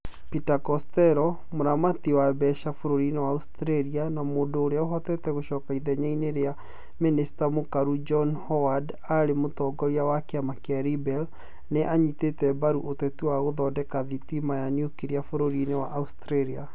Peter Costello, mũramati wa mbeca bũrũri-inĩ wa Australia na mũndũ ũrĩa ũhotete gũcoka ithenya-inĩ rĩa mĩnĩsta mũkaru John Howard arĩ mũtongoria wa kĩama kĩa Liberal, nĩ anyitĩte mbaru ũteti wa gũthondeka thitima ya niukiria bũrũri-inĩ wa Australia.